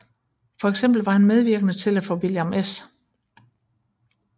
For eksempel var han medvirkende til at få William S